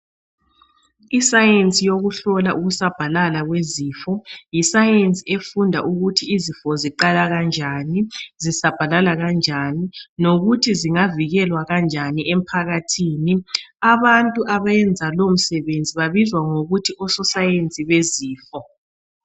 Isayensi yokuhlola umsabhalala wezifo, yisayensi efunda ukuthi izifo ziqala kanjani, zisabhalala kanjani lokuthi zingavikelwa kanjani emphakathini. Abantu abenza lowo msebenzi babizwa ngokuthi ososayensi bezifo.